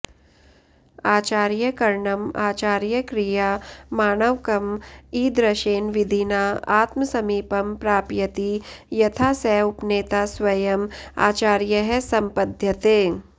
आचार्यकरणम् आचार्यक्रिया माणवकम् ईदृशेन विधिना आत्मसमीपं प्राप्यति यथा स उपनेता स्वयम् आचार्यः सम्पद्यते